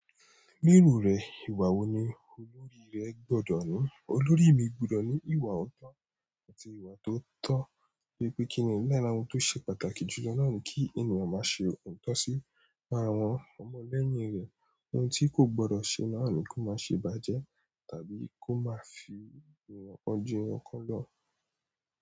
Ni iru rẹ̀ ìwà wo ni olórí rẹ gbọ́dọ̀ ní? Olórí mi gbọ́dọ̀ ní ìwà ọ̀tọ̀ àti ìwà tó tọ́. Bi pé kíni lára ohun tó ṣe pàtàkì jù lọ náà ni kí ènìyàn máa ṣe òótọ́ sí àwọn ọmọ lẹ́yìn rẹ̀. Ohun tí kò gbọ́dọ̀ ṣe náà ni kó má ṣe ibàjẹ́ tàbí kó má fi ọji wọn kan lọ́.